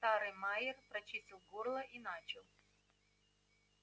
старый майер прочистил горло и начал